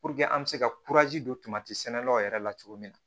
an bɛ se ka don sɛnɛlaw yɛrɛ la cogo min na